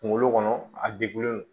Kunkolo kɔnɔ a degunnen don